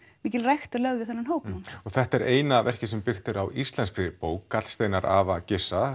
mikil rækt er lögð við þennan hóp núna þetta er eina verkið sem byggt er á íslenskri bók gallsteinar afa